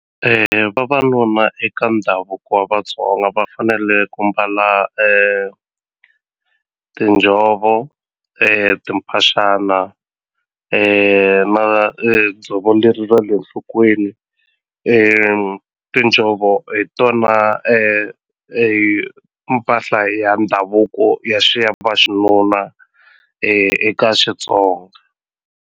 Vavanuna eka ndhavuko wa Vatsonga va fanele ku mbala tinjhovo timphaxana na dzovo leri ra le nhlokweni tinjhovo hi tona mpahla ya ndhavuko ya xinuna eka Xitsonga.